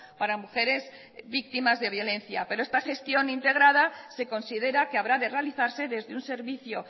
para mujeres víctimas de violencia pero esta gestión integrada se considera que habrá de realizarse desde un servicio